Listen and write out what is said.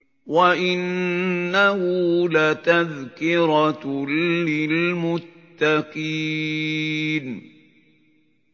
وَإِنَّهُ لَتَذْكِرَةٌ لِّلْمُتَّقِينَ